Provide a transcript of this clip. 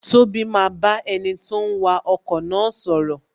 Tobi maa ba enito ń wa ọkọ̀ na sọ̀rọ̀